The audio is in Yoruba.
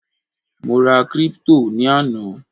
mo ra crypto ni ana